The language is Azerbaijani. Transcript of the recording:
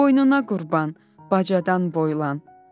Boynuna qurban, bacadan boylan.